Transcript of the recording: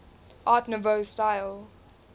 art nouveau style